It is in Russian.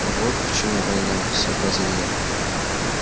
вот почему война сообразил я